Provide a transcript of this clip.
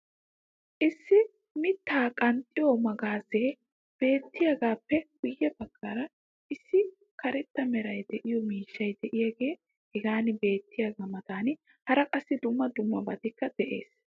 Issi mitaa qanxxiyo magaazzee beettiyagaappe guye bagaara issi kareta meray de'iyo miishshay diyaagee hagan beetiyaagaa matan hara qassi dumma dummabaykka de'ees.